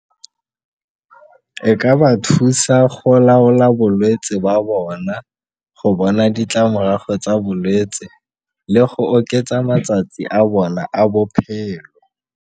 E ka ba thusa go laola bolwetse ba bona go bona ditlamorago tsa bolwetse le go oketsa matsatsi a bona a bophelo.